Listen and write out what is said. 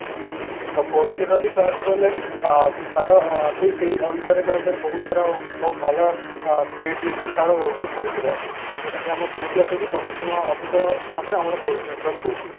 ତ four G ର ବି କହିବାକୁ ଗଲେ ଅ ତାର ବି ସେଇ ଅନୁସାରେ କହିବାକୁ ଗଲେ ବହୁତ ତାର ବହୁତ ଅ ଭଲ speed limit ତାର ରହୁଛି four G ର ଯୋଉଟା କି ଆମର three G ଅପେକ୍ଷା ଦଶଗୁଣ ଅଧିକ ହିସାବରେ ଆମର four G network ଦଉଛି